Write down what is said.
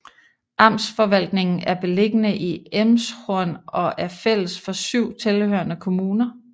Amtsforvaltningen er beliggende i Elmshorn og er fælles for syv tilhørende kommuner